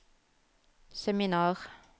seminar